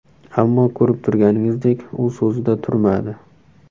Ammo ko‘rib turganingizdek u so‘zida turmadi.